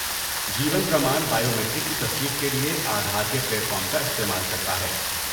جیون پرمان بائیومیٹرک کی تصدیق کے لیے آدھار کے پلیٹ فارم کا استعمال کرتا ہے۔